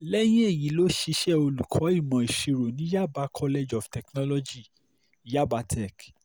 lẹ́yìn èyí ló ṣiṣẹ́ olùkọ́ ìmọ̀ ìṣirò ní yaba college of technology yabatech